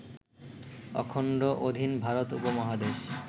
অখণ্ড অধীন ভারত উপমহাদেশ